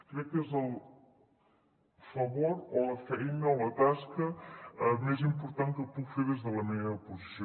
crec que és el favor o la feina o la tasca més important que puc fer des de la meva posició